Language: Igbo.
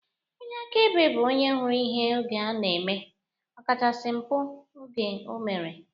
Onye akaebe bụ onye hụrụ ihe oge ọ na-eme, ọkachasị mpụ oge o mere